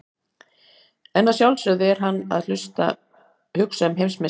En að sjálfsögðu er hann að hugsa um heimsmeistaramótið.